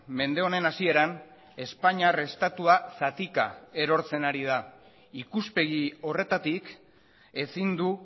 mende honen hasieran espainiar estatua zatika erortzen ari da ikuspegi horretatik ezin du